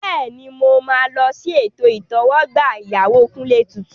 Bẹ́ẹ̀ni, mo máa lọ sí ètò ìtẹ́wọ́gbà ìyàwó Kunle tuntun.